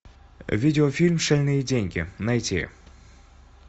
видеофильм шальные деньги найти